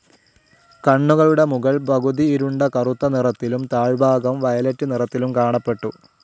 കണ്ണുകളുടെ മുകൾ പകുതി ഇരുണ്ട കറുത്ത നിറത്തിലും താഴ്ഭാഗം വയലെറ്റ് നിറത്തിലും കാണപ്പെട്ടു.